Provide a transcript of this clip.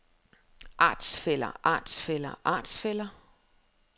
artsfæller artsfæller artsfæller